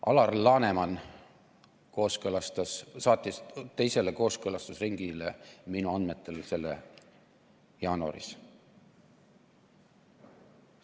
Alar Laneman kooskõlastas selle, ta saatis minu andmetel selle teisele kooskõlastusringile jaanuaris.